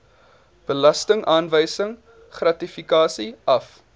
belastingaanwysing gratifikasie af